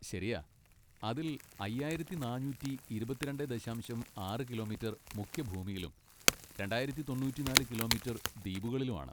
ശരിയാ, അതിൽ അയ്യായിരത്തി നാനൂറ്റി ഇരുപത്തി രണ്ടേ ദശാംശം ആറ് കിലോമീറ്റർ മുഖ്യഭൂമിയിലും രണ്ടായിരത്തി തൊണ്ണൂറ്റിനാല് കിലോമീറ്റർ ദ്വീപുകളിലും ആണ്.